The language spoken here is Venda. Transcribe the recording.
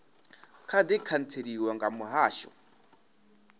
kha di khantseliwa nga muhasho